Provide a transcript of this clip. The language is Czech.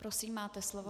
Prosím, máte slovo.